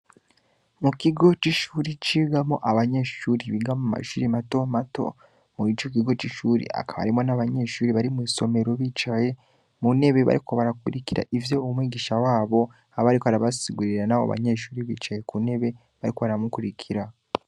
Mu kigo c'ishure cigamwo abanyeshure biga mu mashure mato mato, murico kigo c'ishure hakaba harimwo n'abanyeshure bari mw'isomero, bicaye mu ntebe bariko barakurikira ivyo umwishigisha wabo aba ariko arabasigurira, nabo banyeshure bicaye kuntebe bariko baramukurikira.